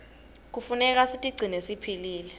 knefuneka sitigcine siphilile